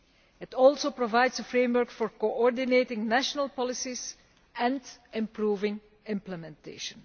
It also provides a framework for coordinating national policies and improving implementation.